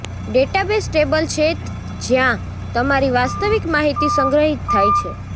database table છે જ્યાં તમારી વાસ્તવિક માહિતી સંગ્રહિત થાય છે